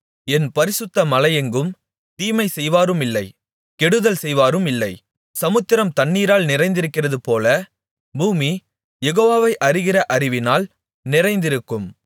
என் பரிசுத்த மலையெங்கும் தீமை செய்வாருமில்லை கெடுதல் செய்வாருமில்லை சமுத்திரம் தண்ணீனால் நிறைந்திருக்கிறதுபோல பூமி யெகோவாவை அறிகிற அறிவினால் நிறைந்திருக்கும்